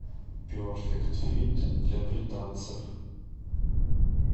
перфект фит для британцев